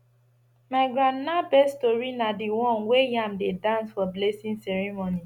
my grandma best tori na the one wey yam dey dance for blessing ceremony